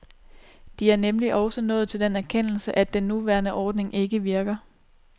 De er nemlig også nået til den erkendelse, at den nuværende ordning ikke virker.